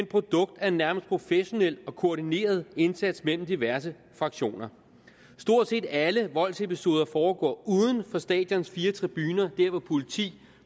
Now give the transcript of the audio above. produkt af en nærmest professionel og koordineret indsats mellem diverse fraktioner stort set alle voldsepisoder foregår uden for stadions fire tribuner der hvor politi